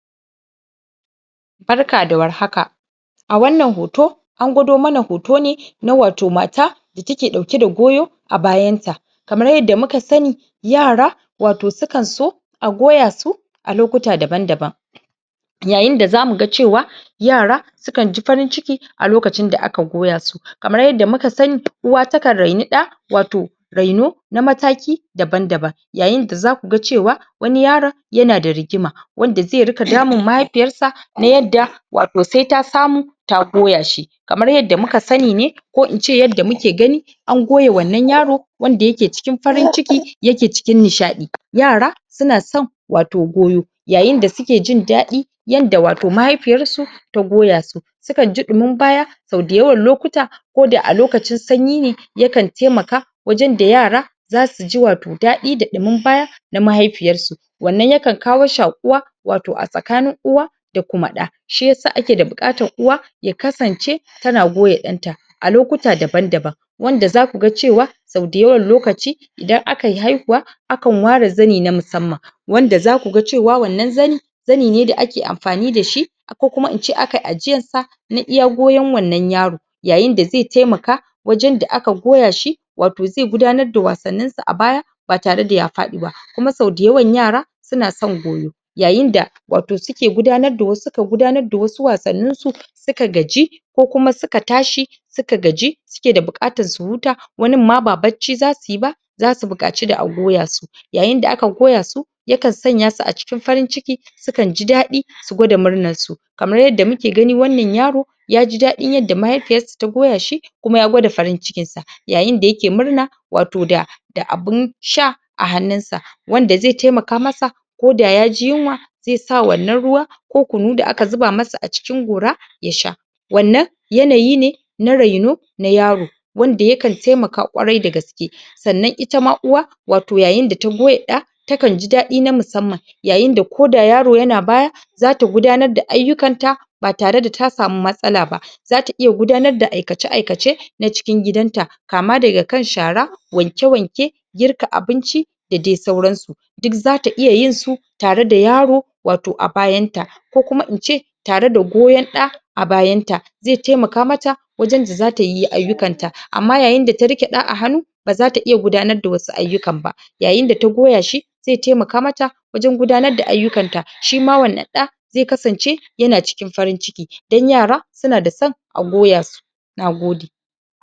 Barka da war haka a wannan hoto an gwado mana hoto ne na wato mata da take ɗauke da goyo a bayanta kamar yadda muka sani yara wato su kan so a goya su a lokuta daban-daban yayin da za mu ga cewa yara su kan ji farin-ciki a lokacin da aka goya su kamar yadda muka sani uwa takan raini ɗa wato raino na mataki daban-daban yayin da za ku ga cewa wani yaron yana da rigima wanda zai dinga damun mahaifiyarsa na yadda wato sai ta samu ta goya shi kamar yadda muka sani ne ko ince yadda muke gani an goya wannan yaro wanda yake cikin farin-ciki yake cikin nishaɗi yara su na san wato goyo yayin da suke jin daɗi yanda wato mahaifiyarsu ta goya su su kan ji ɗumin baya sau dayawan lokuta ko da a lokacin sanyi ne ya kan taimaka wajen da yara za su ji wato daɗi da ɗumin baya na mahaifiyarsu wannan ya kan kawo shaƙuwa wato a tsakanin uwa da kuma ɗa shi yasa ake da buƙatar uwa ya kasance tana goya ɗanta a lokuta daban-daban wanda za ku ga cewa sau dayawan lokaci idan aka yi haihuwa akan ware zani na musamman wanda za ku ga cewa wannan zani zani ne da ake amfani da shi ko kuma ince aka yi ajiyar sa na iya goyon wannan yaro yayin da zai taimaka wajen da aka goya shi wato zai gudanar da wasannin sa a baya ba tare da ya faɗi ba kuma sau dayawan yara su na son goyo\\ yayin da wato suke gudanar da wasu suka gudanar da wasu wasanninsu suka gaji ko kuma suka tashi suka gaji suke da buƙatar su huta wanin ma ba barci za su yi ba za su buƙaci da a goya su yayin da aka goya su ya kan sanya su a cikin farin-ciki su kan ji daɗi su gwada murnarsu kamar yadda muke gani wannan yaro ya ji daɗin yadda mahiafiyarsa ta goya shi kuma ya gwada farin-cikinsa yayin da yake murna wato da da abin sha a hannunsa wanda zai taimaka masa ko da ya ji yunwa zai sa wannan ruwa ko kunu da aka zuba masa a cikin gora ya sha wannan yanayi ne na raino na yaro wanda ya kan taimaka kwarai da gaske sannan ita ma uwa wato yayin da ta goya ɗa ta kan ji daɗi na musamman yayin da ko da yaro yana baya za ta gudanar da ayyukan ta ba tare da ta samu matsala ba za ta iya gudanar da aikace-aikace na cikin gidanta kama daga kan shara wanke-wanke girka abinci da dai sauransu duk za ta iya yin su tare da yaro wato a byanta ko kuma in ce tare da goyon ɗa a bayanta zai taimaka mata wajen da za ta yi ayyukanta amma yayin da tta riƙe ɗa a hannu ba za ta iya gudanar da wasu ayyukan ba yayin da ta goya shi zai taimaka mata wajen gudanar da ayyukanta shi ma wannan ɗa zai kasance yaan cikin farin-ciki don yara su na da son a goya su na gode